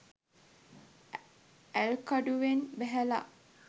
ඇල්කඩුවෙන් බැහැල